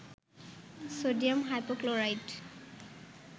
sodium hypochlorite